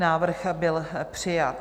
Návrh byl přijat.